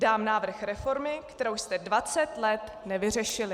Dám návrh reformy, kterou jste 20 let nevyřešili."